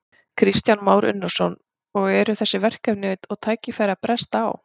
Kristján Már Unnarsson: Og eru þessi verkefni og tækifæri að bresta á?